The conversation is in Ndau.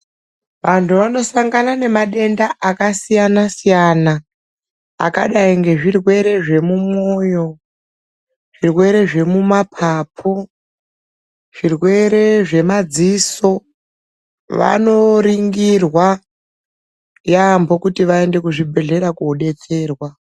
Antu anosangana nemadenda akasiyana siyana akadai ngezvirwere zvemumwoyo zvirwere zvemumapapu zvirwere zvemadziso vanoringirwa yambo kuti vaende kuzvibhedhlera kuno detserwa.